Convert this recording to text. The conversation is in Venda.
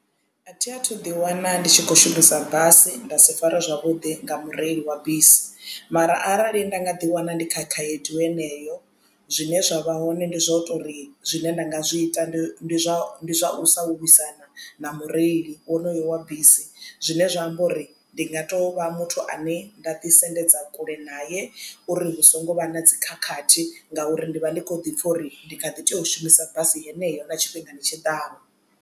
Athi athu ḓi wana ndi tshi khou shumisa basi nda si farwe zwavhudi nga mureili wa bisi mara arali nda nga ḓi wana ndi kha khaedu heneyo zwine zwa vha hoṋe ndi zwa u tori zwine nda nga zwi ita ndi zwa zwa u sa vhaisana na mureili wonoyo wa bisi zwine zwa amba uri ndi nga to vha muthu ane nda ḓi sendedza kule naye uri hu songo vha na dzi khakhathi ngauri ndi vha ndi kho ḓi pfha uri ndi kha ḓi tea u shumisa basi heneyo na tshifhingani tshiḓaho.